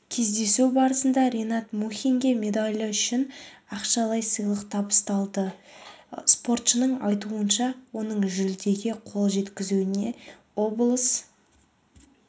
кездесу барысында ринат мұхинге медалі үшін ақшалай сыйлық табысталды спортшының айтуынша оның жүлдеге қол жеткізуіне облыс